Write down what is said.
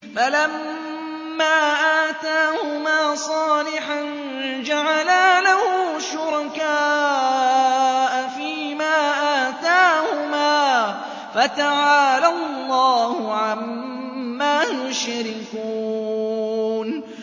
فَلَمَّا آتَاهُمَا صَالِحًا جَعَلَا لَهُ شُرَكَاءَ فِيمَا آتَاهُمَا ۚ فَتَعَالَى اللَّهُ عَمَّا يُشْرِكُونَ